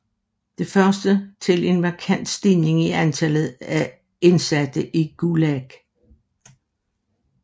Det førte til en markant stigning i antallet af indsatte i Gulag